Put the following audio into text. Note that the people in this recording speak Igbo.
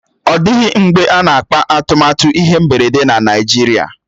Ọ dịghị mgbe a na-akpà atụmatụ ihe mberede na Naijiria